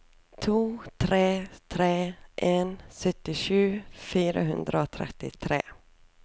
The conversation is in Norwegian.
to tre tre en syttisju fire hundre og trettitre